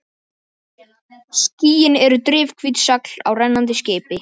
Skýin eru drifhvít segl á rennandi skipi.